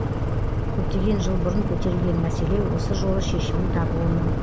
көптеген жыл бұрын көтерілген мәселе осы жолы шешімін табуы мүмкін